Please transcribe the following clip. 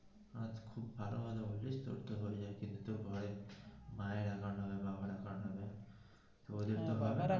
ভালো ভালোই তোরতো হয়ে যাই তোর তো ঘরে মায়ের account হবে বাবার account হ্যা দাদার account.